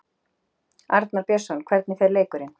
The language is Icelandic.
Arnar Björnsson: Hvernig fer leikurinn?